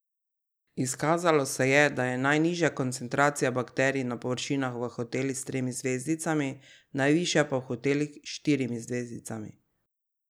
Izkazalo se je, da je najnižja koncentracija bakterij na površinah v hotelih s tremi zvezdicami, najvišja pa v hotelih s štirimi zvezdicami.